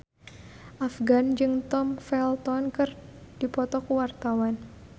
Afgan jeung Tom Felton keur dipoto ku wartawan